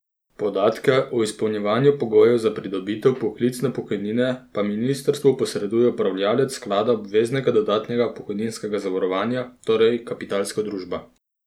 Podatke o izpolnjevanju pogojev za pridobitev poklicne pokojnine pa ministrstvu posreduje upravljavec sklada obveznega dodatnega pokojninskega zavarovanja, torej Kapitalska družba.